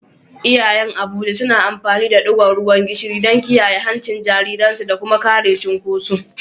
Iyayen Abuja suna amfani da digon ruwan gishiri don kiyaye hancin jariransu da kuma kare cunkoso.